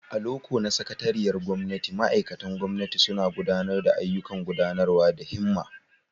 A loko na sakatariyar gwamnati, ma'aikatan gwamnati suna gudanar da ayyukan gudanarwa da himma.